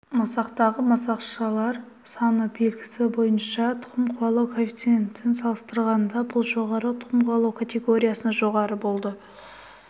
масақтағы масақшалар саны белгісі бойынша тұқым қуалау коэффициентін салыстырғанда бұл жоғары тұқым қуалау категориясы жоғары болды